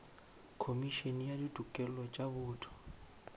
khomišene ya ditokelo tša botho